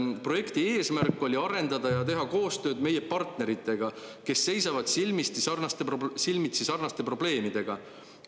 "Projekti eesmärk oli arendada ja teha koostööd meie partneritega, kes seisavad silmitsi sarnaste probleemidega.